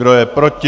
Kdo je proti?